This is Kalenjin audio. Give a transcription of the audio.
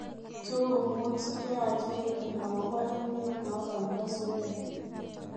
tuguk muut che yache ingen agopo emet noton bo Sweden